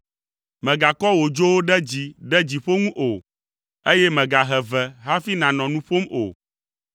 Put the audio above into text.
Mègakɔ wò dzowo ɖe dzi ɖe dziƒo ŋu o, eye mègahe ve hafi nànɔ nu ƒom o.’ ”